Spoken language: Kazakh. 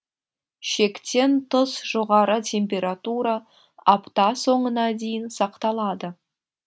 шектен тыс жоғары температура апта соңына дейін сақталады